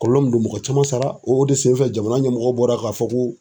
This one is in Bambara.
Kɔlɔlɔ min do mɔgɔ caman sara o de senfɛ jamana ɲɛmɔgɔ bɔra k'a fɔ ko